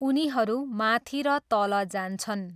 उनीहरू माथि र तल जान्छन्।